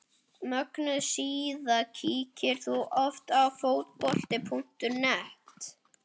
Mögnuð síða Kíkir þú oft á Fótbolti.net?